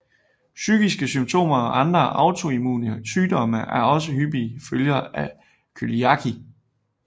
Psykiske symptomer og andre autoimmune sygdomme er også hyppige følger af cøliaki